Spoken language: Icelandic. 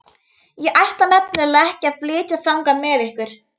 Ég ætla nefnilega ekki að flytja þangað með ykkur.